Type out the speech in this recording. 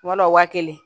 Kuma dɔ la waa kelen